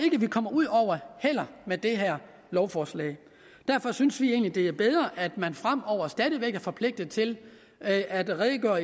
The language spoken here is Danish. vi kommer ud over med det her lovforslag derfor synes vi egentlig det er bedre at man fremover stadig væk er forpligtet til at at redegøre